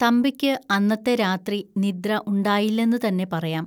തമ്പിക്ക് അന്നത്തെ രാത്രി നിദ്ര ഉണ്ടായില്ലെന്നുതന്നെ പറയാം